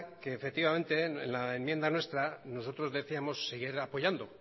que efectivamente en la enmienda nuestra nosotros decíamos seguir apoyando